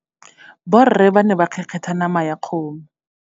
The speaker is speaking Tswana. Borre ba ne ba kgekgetha nama ya kgomo.